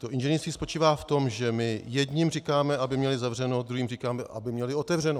To inženýrství spočívá v tom, že my jedněm říkáme, aby měli zavřeno, druhým říkáme, aby měli otevřeno.